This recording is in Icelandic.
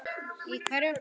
Í hverju?